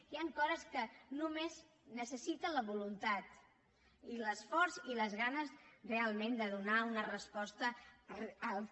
hi han coses que només necessiten la voluntat i l’esforç i les ganes realment de donar una resposta al que